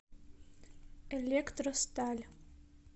электросталь